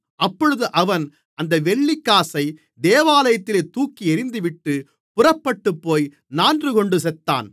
அப்பொழுது அவன் அந்த வெள்ளிக்காசை தேவாலயத்திலே தூக்கி எரிந்துவிட்டு புறப்பட்டுப்போய் நான்றுகொண்டு செத்தான்